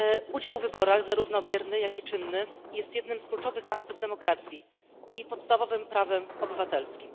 Udział w wyborach zarówno bierny, jak i czynny jest jednym z kluczowych aktów demokracji i podstawowym prawem obywatelskim.